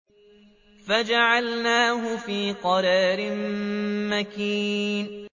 فَجَعَلْنَاهُ فِي قَرَارٍ مَّكِينٍ